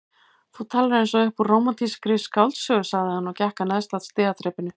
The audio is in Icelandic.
Þú talar eins og upp úr rómantískri skáldsögu sagði hann og gekk að neðsta stigaþrepinu.